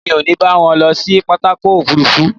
Èmi ò ní bá wọn lọ sí pápákọ̀ òfuurufú